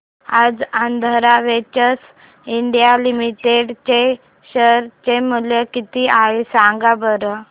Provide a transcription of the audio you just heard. आज Aadhaar ventures India limited चे share चे मूल्य किती आहे सांगा बरं